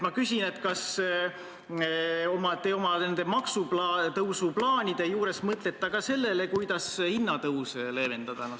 Kas te oma maksutõusu plaanide juures mõtlete ka sellele, kuidas hinnatõuse leevendada?